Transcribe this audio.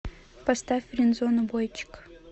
поставь френдзону бойчик